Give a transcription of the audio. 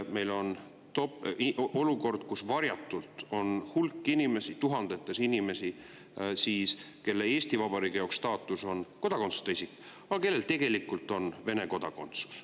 Meil on olukord, kus varjatult on hulk inimesi, tuhandeid inimesi, kelle staatus Eesti Vabariigis on kodakondsuseta isik, aga kellel tegelikult on Vene kodakondsus.